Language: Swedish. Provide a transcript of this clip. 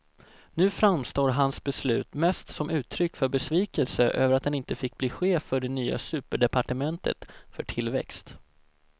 Nu framstår hans beslut mest som uttryck för besvikelse över att han inte fick bli chef för det nya superdepartementet för tillväxt.